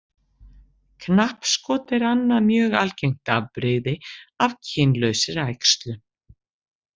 Knappskot er annað mjög algengt afbrigði af kynlausri æxlun.